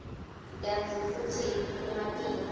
kantsi futsi kumatima